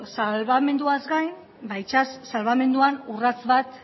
salbamenduaz gain itsas salbamenduan urrats bat